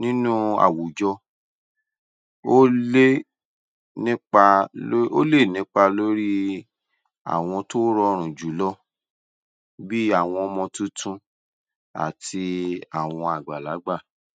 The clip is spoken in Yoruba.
nínú àwùjọ ó lé nípá lórí ó lè nípa lórí àwọn tó rọrùn jù lọ bí i àwọn ọmọ tuntun àti àwọn àgbàlágbà.